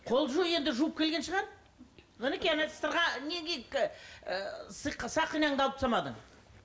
қол жу енді жуып келген шығар мінекей ана сырға сақинаңды алып тастамадың